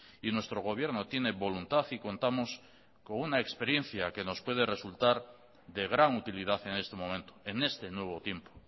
y nuestro gobierno tiene voluntad y contamos con una experiencia que nos puede resultar de gran utilidad en este momento en este nuevo tiempo